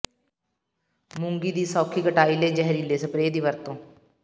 ਮੂੰਗੀ ਦੀ ਸੌਖੀ ਕਟਾਈ ਲਈ ਜ਼ਹਿਰੀਲੇ ਸਪਰੇਅ ਦੀ ਵਰਤੋਂ